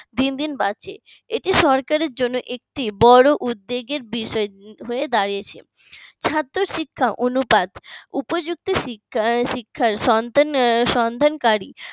দিন দিন বাড়ছে এটি সরকারের জন্য একটি বড় উদ্বেগের বিষয় হয়ে দাঁড়িয়েছে ছাত্র শিক্ষা অনুপাত উপযুক্ত শিক্ষার সন্ধান সন্ধান করি